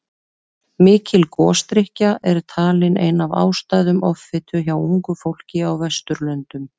Mikil gosdrykkja er talin ein af ástæðum offitu hjá ungu fólki á Vesturlöndum.